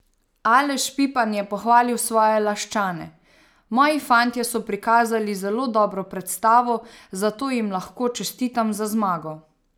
Aleš Pipan je pohvalil svoje Laščane: "Moji fantje so prikazali zelo dobro predstavo, zato jim lahko čestitam za zmago.